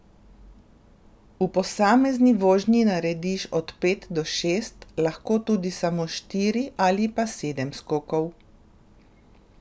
V posamezni vožnji narediš od pet do šest, lahko tudi samo štiri ali pa sedem skokov.